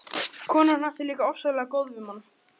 Konan hans er líka ofsalega góð við mann.